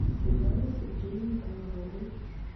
светлане сергеевне комаровой